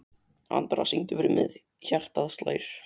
Andra, syngdu fyrir mig „Hjartað slær“.